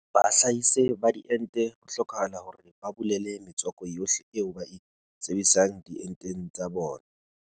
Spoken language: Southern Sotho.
Bahlahise ba diente ho hlokahala hore ba bolele metswako yohle eo ba e sebedisang dienteng tsa bona.